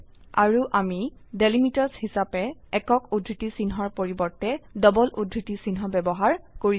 আৰু আমি ডেলিমিটাৰ্ছ হিসাবে একক উদ্ধৃতি চিহ্নৰ পৰিবৰ্তে ডবল উদ্ধৃতি চিহ্ন ব্যবহাৰ কৰিছো